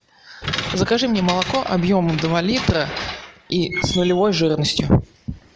закажи мне молоко объемом два литра и с нулевой жирностью